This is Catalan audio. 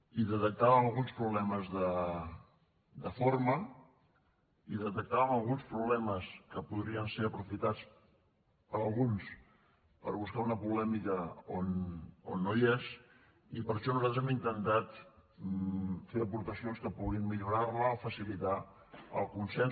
hi detectàvem alguns problemes de forma hi detectàvem alguns problemes que podrien ser aprofitats per alguns per buscar una polèmica on no hi és i per això nosaltres hem intentat fer hi aportacions que puguin millorar la o facilitar el consens